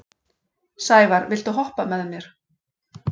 Sævarr, viltu hoppa með mér?